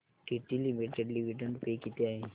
TT limited dividend pay किती आहे